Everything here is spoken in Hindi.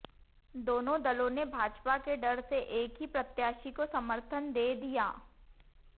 दोनों दलों ने भाजपा के डर से एक ही प्रत्याशी को समर्थन दे दिया